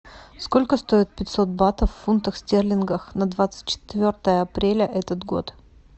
сколько стоит пятьсот батов в фунтах стерлингах на двадцать четвертое апреля этот год